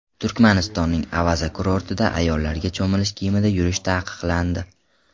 Turkmanistonning Avaza kurortida ayollarga cho‘milish kiyimida yurish taqiqlandi.